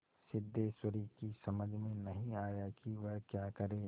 सिद्धेश्वरी की समझ में नहीं आया कि वह क्या करे